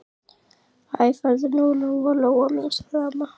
Æ, farðu nú, Lóa-Lóa mín, sagði amma.